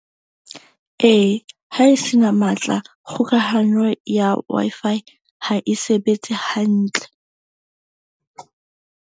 Ee, ha e se na matla, kgokahanyo ya Wi-Fi ha e sebetse hantle.